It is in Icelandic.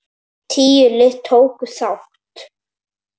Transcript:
Tíu lið tóku þátt.